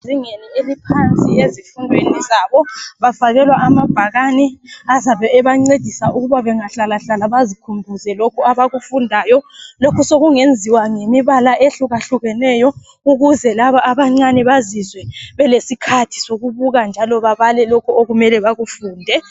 Ezingeni eliohansi ezifundweni zabo bafakelwa amabhakani azabe ebancedisa ukuba bengahlalahlala bazikhumbuze lokho abakufundayo. Lokhu sokungenziwa ngemibala ehlukahlukeneyo ukuze laba abancane bazizwe balesikhathi sokubuka njalo babale lokho okumele bakufunde.